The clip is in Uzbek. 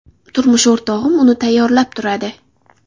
Turmush o‘rtog‘im uni tayyorlab turadi.